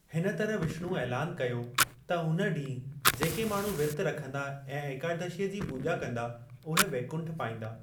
हिन तरह विष्णु ऐलान कयो त हुन ॾींह जेके माण्‍हू विर्त रखंदा ऐं एकादशी जी पूॼा कंदा, उहे वैकुंठ पाइंदा।